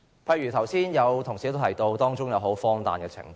剛才有同事提到當中荒誕的情況。